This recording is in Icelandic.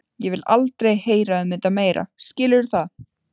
Ég vil aldrei heyra um þetta meira, skilurðu það?